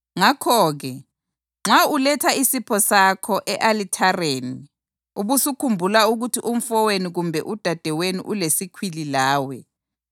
Ngakho-ke, nxa uletha isipho sakho e-alithareni ubusukhumbula ukuthi umfowenu kumbe udadewenu ulesikhwili lawe,